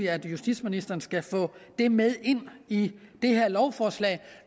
at justitsministeren skal få det med ind i det her lovforslag